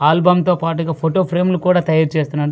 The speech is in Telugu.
ఆల్బమ్ తో పాటుగా ఫోటో ఫ్రేమ్ లు కూడా తయారు చేస్తున్నాన--